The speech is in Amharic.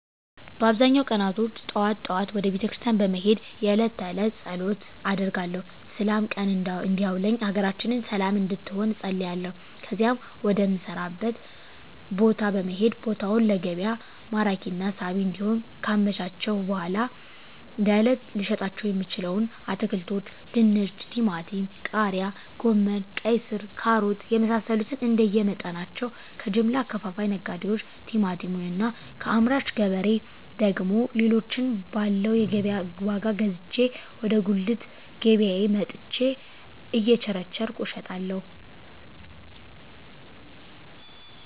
በአብዛኛው ቀናቶች ጠዋት ጠዋት ወደ ቤተክርስቲያን በመሄድ የእለት ተእለት ፀሎት አደርጋለሁ ስላም ቀን እንዲያውለኝ ሀገራችንን ሰለም እንድትሆን እፀልያለሁ ከዚያም ወደ ምሰራበት ቦታ በመሄድ ቦታውን ለገቢያ ማራኪና ሳቢ እንዲሆን ካመቻቸሁ በኃላ ለእለት ልሸጣቸው የምችለዉን አትክልቶች ድንች ቲማቲም ቃሪያ ጎመን ቀይስር ካሮት የመሳሰሉትንእንደየ መጠናቸው ከጀምላ አከፋፋይ ነጋዴዎች ቲማቲሙን እና ከአምራች ገበሬ ደግሞ ሌሎችን ባለው የገቢያ ዋጋ ገዝቼ ወደ ጉልት ገቢያየ መጥቸ እየቸረቸርኩ እሸጣለሁ